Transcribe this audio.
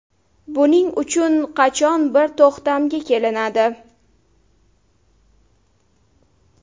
Buning uchun qachon bir to‘xtamga kelinadi?